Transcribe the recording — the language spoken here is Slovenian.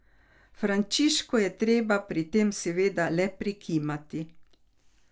Frančišku je treba pri tem seveda le prikimati.